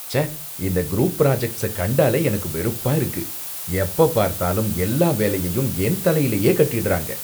ச்சே! இந்த group projects கண்டாலே எனக்கு வெறுப்பா இருக்கு, எப்பப்பார்த்தாலும் எல்லா வேலையையும் என் தலையிலேயே கட்டிடுறாங்க